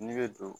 Ne bɛ don